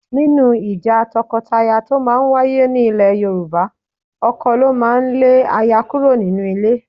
Nínú ìjà tọkọtaya tó máa ń wáyé nílẹ̀ Yorùbá, ọkọ ló máa ń lé aya kúrò nínú ilé